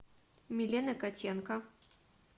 милены котенко